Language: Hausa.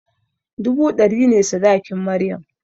Dubu ɗari ne sadakin maryam